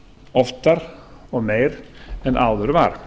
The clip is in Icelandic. oftar og meira en áður var